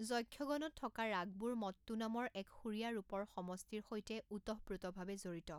যক্ষগণত থকা ৰাগবোৰ মট্টু নামৰ এক সুৰীয়া ৰূপৰ সমষ্টিৰ সৈতে ওতঃপ্ৰোতভাৱে জড়িত।